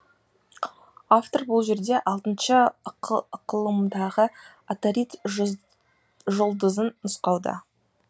автор бұл жерде алтыншы ықылымдағы атарид жұлдызын нұсқауда